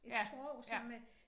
Et sprog som øh